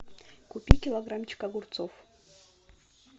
купи килограммчик огурцов